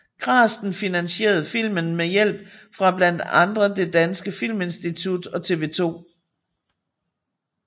Grasten finansierede filmen med hjælp fra blandt andre Det Danske Filminstitut og TV 2